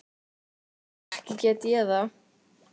Ekki get ég það.